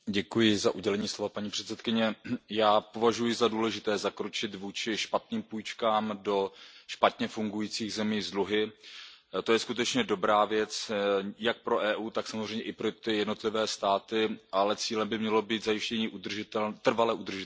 Paní předsedající, já považuji za důležité zakročit vůči špatným půjčkám do špatně fungujících zemí s dluhy. To je skutečně dobrá věc, jak pro EU, tak samozřejmě i pro ty jednotlivé státy, ale cílem by mělo být zajištění trvale udržitelného rozvoje.